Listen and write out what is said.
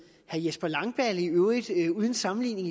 herre jesper langballe i øvrigt uden sammenligning